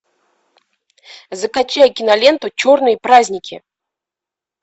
закачай киноленту черные праздники